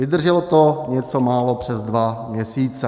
Vydrželo to něco málo přes dva měsíce.